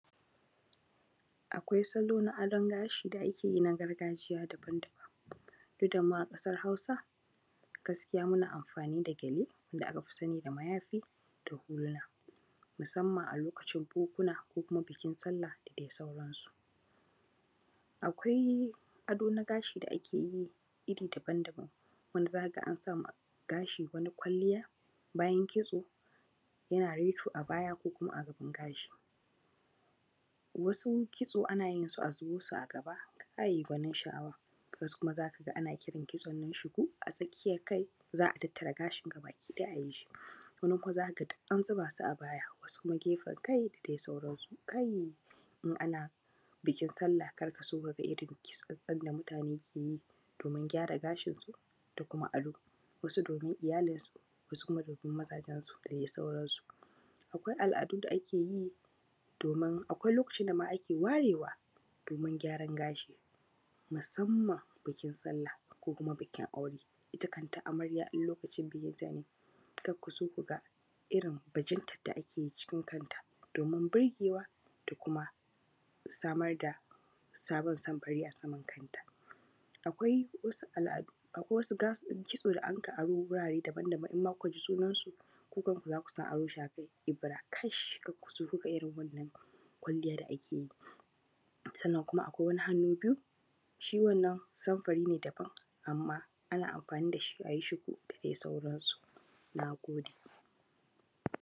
Akwai salo na adon gashi da ake yi na gargajiya daban daban, duk da mu a ƙasar Hausa, gaskiya muna amfani da gyale da aka fi sani da mayafi da hula, musamman a lokacin bukuna ko bukin Sallah da dai sauransu. Akwai ado na gashi da ake yi iri daban daban: wanda za ka ga an sa ma gashi wani kwalliya bayan kitso yana reto a baya ko kuma a gaban gashi. Wasu kitso ana yin su, a zubo su a gaba, kai, gwanin sha’awa! Wasu kuma za ka ga ana irin kitson nan shiku, a tsakiyar kai, za a tattara gashin nan gaba ɗaya, a yi shi. Wani kuma za ka ga duk an zuba su a baya, wasu kuma gefen kai, da dai sauransu. Kai! In ana bukin sallah, kar ka so ka ga irin kitson da mutane ke yi Kai! In ana bukin sallah, kar ka so ka ga irin kitson da mutane ke yi domin gyara gashinsu da kuma ado, wasu domin iyalinsu, wasu kuma domin mazajensu da dai sauransu. Akwai al’adun da ake yi domin… akwai lokacin da ma ake warewa, domin gyaran gashi, musamman bukin Sallah ko kuma bukin aure. Ita kanta amarya idan lokacin bukinta ya yi, kar ku so ku ga irin bajintar da ake yi cikin kanta, domin burgewa da kuma samar da sabon samfuri a saman kai. Akwai wasu al’adu, akwai wasu kitso da anka aro wurare daban daban, in ma kuka ji sunansu, ku kanku za ku san abin sha… Ebira kash! Kar ku so ku ga irin wannan kwalliya da ake yi. Sannan kuma akwai wani hannu-biyu, shi wannan samfuri ne daban, amma ana amfani da shi, a yi shiku da dai sauransu. Na gode.